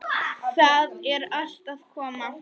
Það er allt að koma.